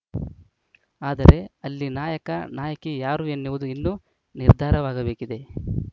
ಆದರೆ ಅಲ್ಲಿ ನಾಯಕ ನಾಯಕಿ ಯಾರು ಎನ್ನುವುದು ಇನ್ನೂ ನಿರ್ಧಾರವಾಗಬೇಕಿದೆ